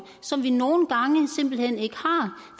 som vi nogen gange simpelt hen ikke har